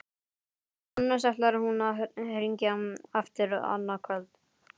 Annars ætlar hún að hringja aftur annað kvöld.